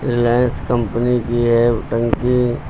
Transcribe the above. Reliance company की है टंकी।